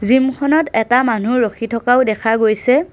Gym খনত এটা মানুহ ৰখি থকাও দেখা গৈছে।